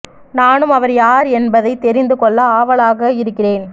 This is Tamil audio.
நானும் அவர் யார் என்பதை தெரிந்து கொள்ள ஆவலாக இருக்கிறேன்